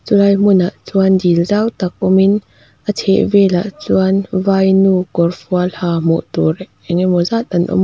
chulai hmunah chuan dil zau tak awmin a chheh velah chuan vainu kawrfual ha hmuh tur engemaw zat an awm a.